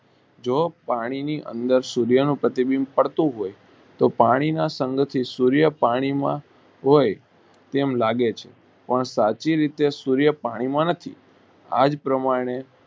જો પાણી ની અંદર સૂર્ય નું પ્રતિબીંબ પડતું હોય તો પાણી ના સઁગ થી સૂર્ય પાણી માં હોય તેમ લાગે છે પણ સાચી રીતે સૂર્ય પાણી માં નથી આ જ પ્રમાણે